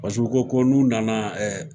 Paseke u ko ko n'u nana ɛɛ